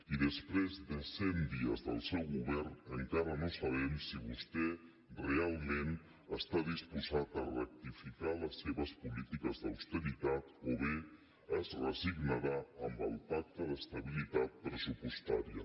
i després de cent dies del seu govern encara no sabem si vostè realment està disposat a rectificar les seves polítiques d’austeritat o bé es resignarà amb el pacte d’estabilitat pressupostària